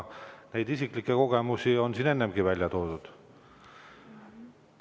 Neid isiklikke kogemusi on siin ennegi välja toodud.